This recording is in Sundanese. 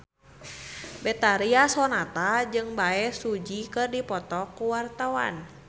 Betharia Sonata jeung Bae Su Ji keur dipoto ku wartawan